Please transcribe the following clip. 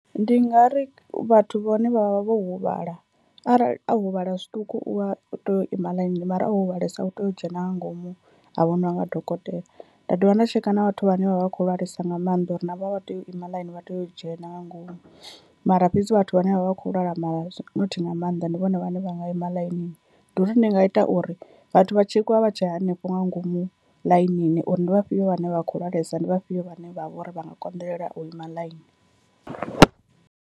Ndi nga ri vhathu vhane vhavha vho huvhala, arali a huvhala zwiṱuku u wa u tea u ima ḽainini mara o huvhalesa u tea u dzhena nga ngomu a vho ṋewa nga dokotela. Nda dovha nda tsheka na vhathu vhane vha vha vha kho lwalesa nga mannḓa uri navho a vha tei u ima ḽaini vha tea u dzhena nga ngomu, mara fhedzi vhathu vhane vhavha vhakho lwala ma nothi nga maanḓa ndi vhone vhane vha nga ima ḽainini. Ndi uri ndi nga ita uri vhathu vha tshekiwa vha tshe hanefho nga ngomu ḽainini uri ndi vhafhio vhane vha kho lwalesa ndi vhafhio vhane vha vha uri vha nga konḓelela u ima ḽaini.